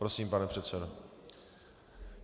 Prosím, pane předsedo.